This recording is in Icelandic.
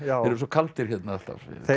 eru svo kaldir hérna alltaf